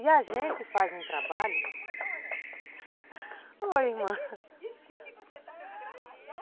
E a gente faz um trabalho... Oi, irmã.